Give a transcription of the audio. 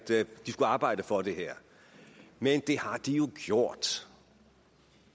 de skulle arbejde for det her men det har de jo gjort